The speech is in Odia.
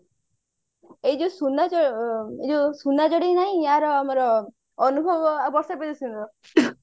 ଏଇ ଯୋଉ ସୁନା ଚଡେଇ ନାହିଁ ୟାର ଆମର ଅନୁଭବ ଆଉ ବର୍ଷା ପ୍ରିୟଦର୍ଶିନୀ ର